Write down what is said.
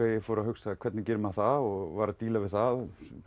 ég fór að hugsa hvernig gerir maður það og var að díla við það